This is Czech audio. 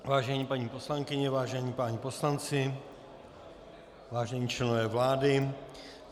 Vážené paní poslankyně, vážení páni poslanci, vážení členové vlády.